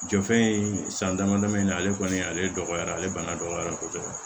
Jɔfɛn in san dama damani ale kɔni ale dɔgɔyara ale bana dɔgɔyara kosɛbɛ